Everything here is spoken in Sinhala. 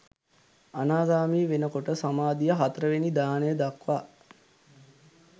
අනාගාමී වෙනකොට සමාධිය හතරවෙනි ධ්‍යානය දක්වා